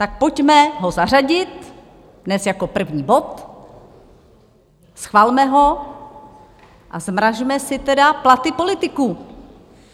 Tak pojďme ho zařadit hned jako první bod, schvalme ho a zmrazme si tedy platy politiků.